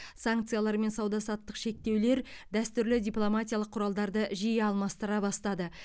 санкциялар мен сауда саттық шектеулер дәстүрлі дипломатиялық құралдарды жиі алмастыра бастады